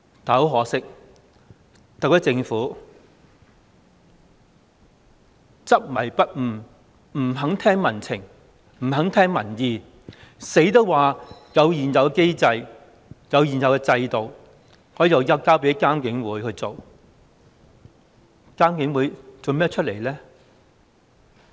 但很可惜，特區政府執迷不悟，不肯聽民情，不肯聽民意，堅持說有現有機制、現有制度，可以交給獨立監察警方處理投訴委員會處理。